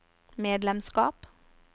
medlemskap